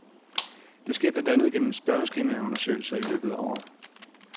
Det sker blandt andet gennem spørgeskemaundersøgelser i løbet af året.